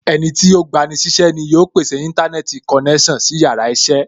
Ẹnití ó gba ni sí iṣẹ́ ni yóò pèsè Íńtánẹ́ẹ̀tì konẹ́sàn sí yàrá iṣẹ́